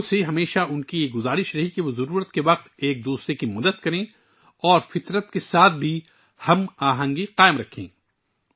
انھوں نے ہمیشہ لوگوں پر زور دیا کہ وہ ایک دوسرے کی ضرورت میں مدد کریں اور فطرت کے ساتھ ہم آہنگی کے ساتھ رہیں